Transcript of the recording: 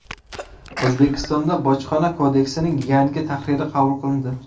O‘zbekistonda Bojxona kodeksining yangi tahriri qabul qilindi.